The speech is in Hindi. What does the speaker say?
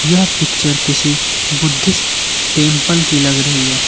यह पिक्चर किसी बुद्धिस्ट टेंपल की लग रही है।